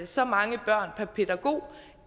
så mange børn per pædagog